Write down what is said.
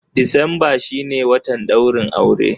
Decemba shi ne watan ɗaurin auren.